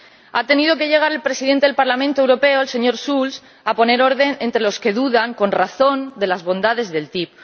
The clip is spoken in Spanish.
Ha tenido que llegar el Presidente del Parlamento Europeo, el señor Schulz, a poner orden entre los que dudan, con razón, de las bondades de la ATCI.